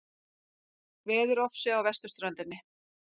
Veðurofsi á vesturströndinni